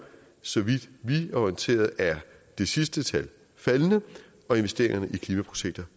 så vidt vi er orienteret at det sidste tal faldende og investeringerne i klimaprojekter